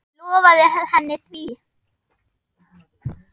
Ég lofaði henni því.